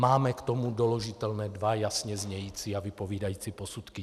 Máme k tomu doložitelné dva jasně znějící a vypovídající posudky.